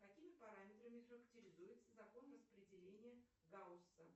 какими параметрами характеризуется закон распределения гаусса